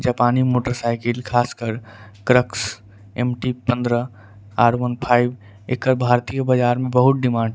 जापानी मोटरसाइकिल खासकर क्रक्स एम टी पंद्रह आर वन फाइव एकर भारतीय बाजार मे बहुत डिमांड --